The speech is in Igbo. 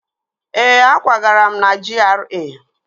Ee, akwagara m na GRA